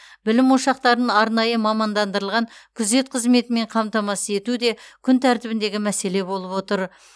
білім ошақтарын арнайы мамандандырылған күзет қызметімен қамтамасыз ету де күн тәртібіндегі мәселе болып отыр